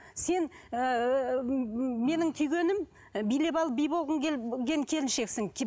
сен ыыы менің күйгенім билеп алып би болғың келіншексің